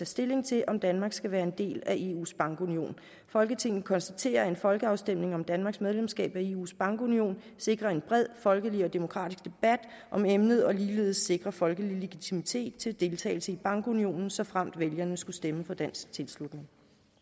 stilling til om danmark skal være en del af eus bankunion folketinget konstaterer at en folkeafstemning om danmarks medlemskab af eus bankunion sikrer en bred folkelig og demokratisk debat om emnet og ligeledes sikrer folkelig legitimitet til deltagelse i bankunionen såfremt vælgerne skulle stemme for dansk tilslutning